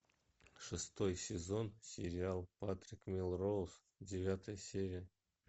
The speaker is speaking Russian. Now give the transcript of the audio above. шестой сезон сериал патрик мелроуз девятая серия